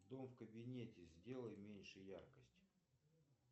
дом в кабинете сделай меньше яркость